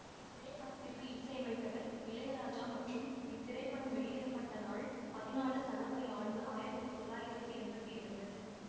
இத்திரைப்படத்திற்கு இசையமைத்தவர் இளையராஜா மற்றும் இத்திரைப்படம் வெளியிட பட்ட நாள் பதிணாழு சனவரி ஆண்டு ஆயிரத்தி தொள்ளாயிரத்தி எம்பத்தி இரண்டு